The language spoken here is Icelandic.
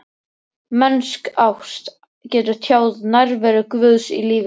Mennsk ást getur tjáð nærveru Guðs í lífi manna.